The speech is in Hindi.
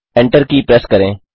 ENTER की प्रेस करें